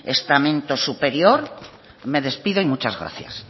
estamento superior me despido y muchas gracias